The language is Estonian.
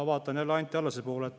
Vaatan jälle Anti Allase poole.